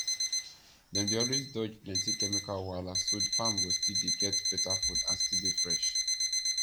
dem dey always dodge plenty chemical wahala so farm go still dey get beta food and still dey fresh